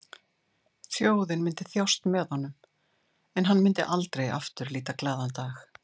Þjóðin myndi þjást með honum en hann myndi aldrei aftur líta glaðan dag.